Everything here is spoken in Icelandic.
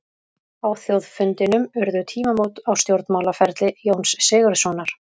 Á þjóðfundinum urðu tímamót á stjórnmálaferli Jóns Sigurðssonar.